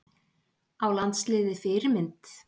Á landsliðið Fyrirmynd?